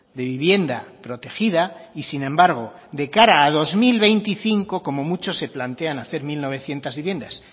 de vivienda protegida y sin embargo de cara al dos mil veinticinco como mucho se plantean hacer mil novecientos viviendas